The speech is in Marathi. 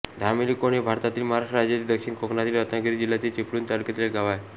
धामेली कोंड हे भारतातील महाराष्ट्र राज्यातील दक्षिण कोकणातील रत्नागिरी जिल्ह्यातील चिपळूण तालुक्यातील एक गाव आहे